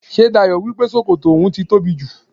Ṣé Dayọ̀ wípé sókótó oun ti tóbi jù?